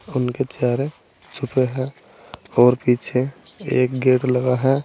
उनके चेहरे छुपे हैं और पीछे एक गेट लगा है।